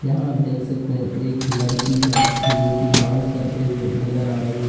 यहां आप देख सकते हैं एक लड़की है जो की डांस करते हुए नजर आ रही है।